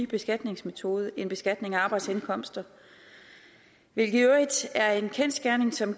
beskatningsmetode end beskatning af arbejdsindkomster hvilket i øvrigt er en kendsgerning som